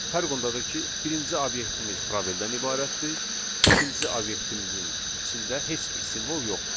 Fərq ondadır ki, birinci obyektimiz probeldən ibarətdir, ikinci obyektimizin içində heç bir simvol yoxdur.